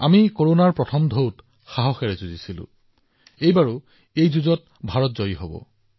আমি প্ৰথম ঢৌতো সম্পূৰ্ণ উৎসাহেৰে যুঁজ দিছিলো এইবাৰো ভাৰতে ভাইৰাছটোৰ বিৰুদ্ধে চলি থকা যুঁজত জয়ী হব